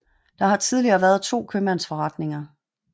Der har tidligere været to købmandsforretninger